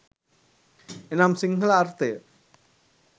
එනම් සිංහල අර්ථය